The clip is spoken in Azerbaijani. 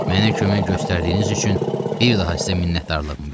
Mənə kömək göstərdiyiniz üçün bir daha sizə minnətdarlığımı bildirirəm.